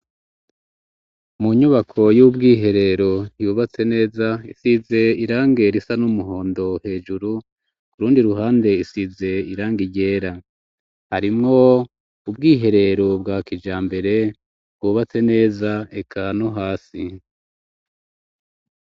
Mu nyubako y'ubwiherero yubatse neza isize irangi risa n'umuhondo hejuru kurundi ruhande isize irangi ryera harimwo ubwiherero bwa kijambere bwubatse neza eka no hasi.